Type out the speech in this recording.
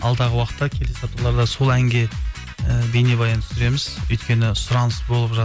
алдағы уақытта келесі апталарда сол әнге і бейнебаян түсіреміз өйткені сұраныс болып